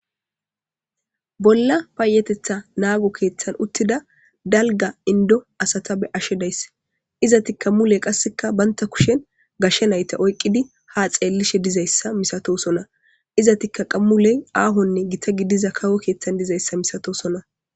bolla paayetetha naago keeththan uttida dalga indo asata be ashe days izati kammuley qasseka baynta kushen gashshe nayta oyqqidi ha xeellishe dizayssa misatosona iza tikka qammuley aahonne gita gidiza kawo keeththan dizayssa misato sona